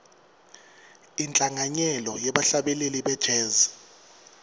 inhlanganyelo yebahlabeleli be jazz